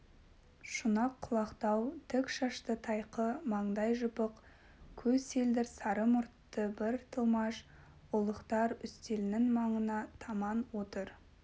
шұнақ құлақтау тік шашты тайқы маңдай жыпық көз селдір сары мұртты бір тілмаш ұлықтар үстелінің маңына таман отыр